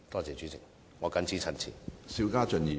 主席，我謹此陳辭。